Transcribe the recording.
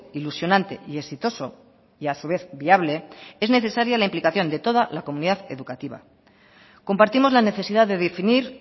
ilusionante y exitoso y a su vez viable es necesaria la implicación de toda la comunidad educativa compartimos la necesidad de definir